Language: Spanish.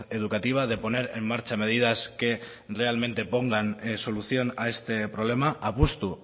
educativa de poner en marcha medidas que realmente pongan solución a este problema apustu